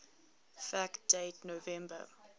fact date november